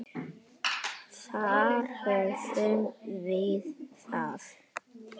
Þar höfum við það!